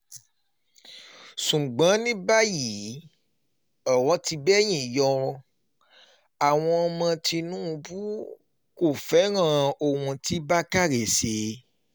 ṣùgbọ́n ní báyìí ọ̀rọ̀ ti bẹ́yìn yọ àwọn ọmọ tìnùbù kò fẹ́ràn ohun tí bákané ṣe